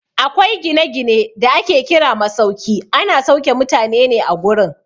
Akwai gina-gine da ake kira masauki, ana sauke mutane ne a gurin.